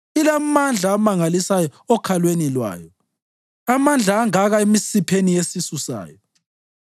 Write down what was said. Ilamandla amangalisayo okhalweni lwayo, amandla angaka emisipheni yesisu sayo!